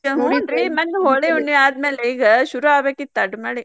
ಮನ್ನೆ ಹೋಳಿ ಹುಣ್ಣಿವಿ ಆದ್ಮೇಲೆ ಈಗ ಶುರು ಆಗ್ಬೇಕಿತ್ತ್ ಅಡ್ಡ್ ಮಳಿ.